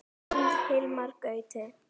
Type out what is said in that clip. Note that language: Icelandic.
Þinn Hilmar Gauti.